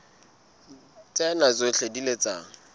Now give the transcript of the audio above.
tsena tsohle di ile tsa